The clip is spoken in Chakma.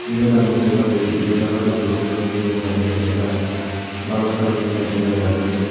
iyot ami sei parir iyot olodey besi bak miley drej dega jar balokkani miley drej agey siyot.